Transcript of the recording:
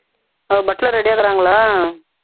butler ready ஆ இருக்குறாங்களா